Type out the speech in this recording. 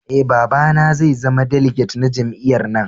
Eh, baba na zai zama diliget na jami'yyar na.